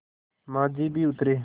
माँझी भी उतरे